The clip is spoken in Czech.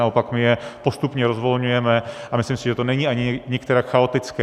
Naopak, my je postupně rozvolňujeme a myslím, si, že to není ani nikterak chaotické.